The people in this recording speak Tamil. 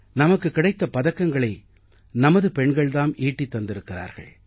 நமக்குக் கிடைத்த பதக்கங்களை நமது பெண்கள் தாம் ஈட்டித் தந்திருக்கிறார்கள்